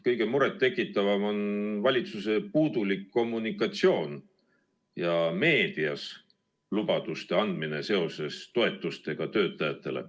Kõige rohkem tekitab muret valitsuse puudulik kommunikatsioon ja meedias lubaduste andmine seoses toetustega töötajatele.